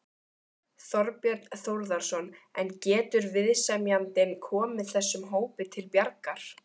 Þorbjörn Þórðarson: En getur viðsemjandinn komið þessum hópi til bjargar?